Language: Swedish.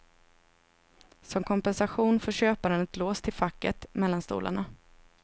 Som kompensation får köparen ett lås till facket mellan stolarna.